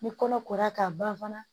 Ni kɔnɔ kora k'a ban fana